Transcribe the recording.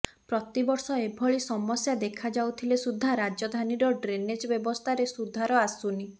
ପ୍ରତିବର୍ଷ ଏଭଳି ସମସ୍ୟା ଦେଖାଯାଉଥିଲେ ସୁଦ୍ଧା ରାଜଧାନୀର ଡ୍ରେନେଜ ବ୍ୟବସ୍ଥାରେ ସୁଧାର ଆସୁନି